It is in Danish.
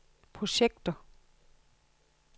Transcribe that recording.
projekter